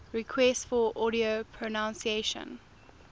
requests for audio pronunciation